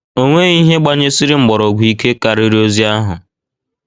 O nweghị ihe gbanyesiri mgbọrọgwụ ike karịrị ozi ahụ.